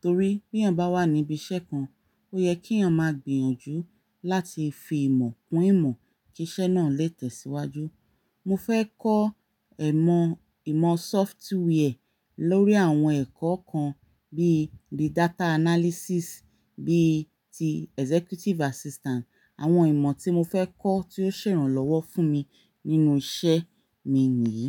Torí bí èèyàn bá wà níbi iṣẹ́ kan, ó yẹ kí èèyàn máa gbìyànjú láti fi ìmọ̀ kun ìmọ̀ kí iṣẹ́ náà lè tẹ̀síwájú. Mo fẹ́ kọ́ ẹ̀ mọ ìmọ̀ software lórí àwọn ẹ̀kọ́ kan bí i data analysis, bí i ti executive assistant. Àwọn ìmọ̀ tí mo fẹ́ kọ́ tí ó ṣèrànlọ́wọ́ fún mi nínú iṣẹ́ mi nìyí.